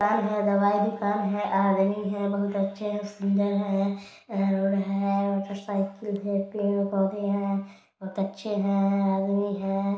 दवाई दुकान है हैं बोहत अच्छे हैं सुन्दर हैं। बहुत अच्छे हैं। .]